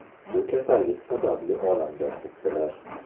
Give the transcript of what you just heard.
Shu kasallik sababli olamdan o‘tdilar.